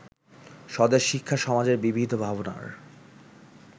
স্বদেশ-শিক্ষা-সমাজের বিবিধ ভাবনার